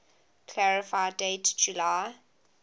clarify date july